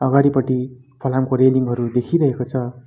अगाडिपटि फलामको रेलिङ हरू देखिरहेको छ।